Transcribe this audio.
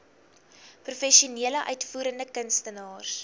professionele uitvoerende kunstenaars